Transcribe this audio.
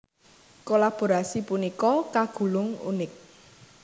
Kolaborasi punika kagolong unik